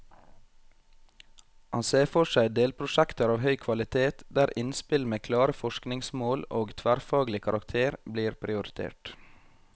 Han ser for seg delprosjekter av høy kvalitet, der innspill med klare forskningsmål og tverrfaglig karakter blir prioritert.